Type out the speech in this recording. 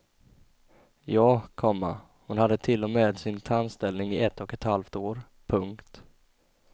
Ja, komma hon hade till och med sin tandställning i ett och ett halvt år. punkt